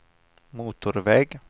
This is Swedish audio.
motorväg